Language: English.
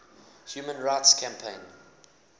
human rights campaign